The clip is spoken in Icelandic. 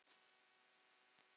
Afa Böðvars söknum við sárt.